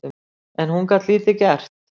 En hún gat lítið gert